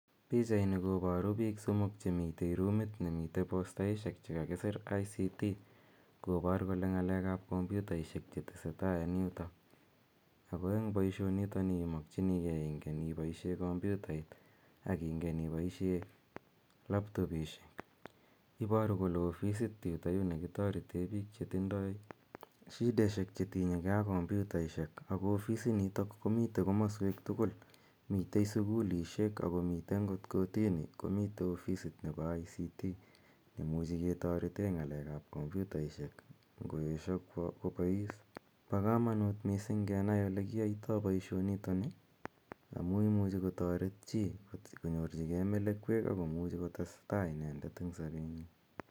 Pichani koparu piik somok che mitei rumit ne mitei postaishek che kakisir ICT kopar kole ng'alek ap kompyutaishek che tese tai en yutok. Ago eng eng' poishonitoni imakcjinigei ingen ipaishe kompyutait aki ngen ipaishe laptopishek. Iparu kole ofisit yutayu ne kitarete piik che tindai shideshek che tinye ge ak kompyutaishek. Ako ofisinitok komitei komaswek tugul, mitei sukulishek ako mitei angot kotini, komitei ofisit nepo ICT notok ne imuchi ketarete ng'alek ap kompyutaishek ngo esha kopais. Pa kamanut missing' kenai ole kiaitai poishonitoni amu imuchi kotaret chi konyorchihei melekweek ako muchi kotes tai inendet eng' sapenyi.